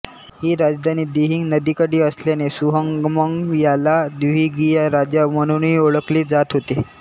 ही राजधानी दिहिंग नदीकाठी असल्याने सुहंगमंग याला दिहिंगिया राजा म्हणूनही ओळखले जात होते